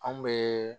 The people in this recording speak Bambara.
Anw bɛ